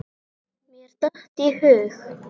Mér datt í hug.